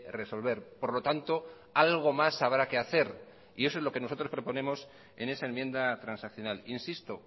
resolver por lo tanto algo más habrá que hacer y eso es lo que nosotros proponemos en esa enmienda transaccional insisto